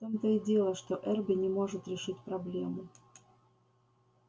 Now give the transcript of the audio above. в том-то и дело что эрби не может решить проблему